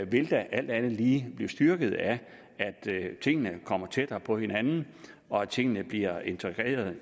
vil da alt andet lige blive styrket ved at tingene kommer tættere på hinanden og tingene bliver integreret